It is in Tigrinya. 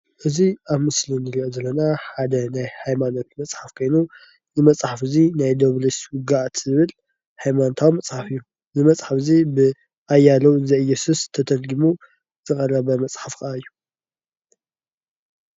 እዚ ኣብ ምስሊ እንሪኦ ዘለና ሓደ ናይ ሃይማኖት መፅሓፍ ኮይኑ እዚ መፀሓፍ እዙይ ናይ ድያውሎስ ውግኣት ዝብል ሃይማነታዊ መፀሓፍ እዩ። እዚ መፅሓፍ እዚ ብኣያሌው ዘእየሱስ ተተሪጊሙ ዝቀረበ መፅሓፍ እዩ።